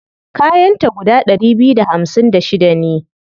Kayan ta guda ɗari biyu da hamsin da shida ne.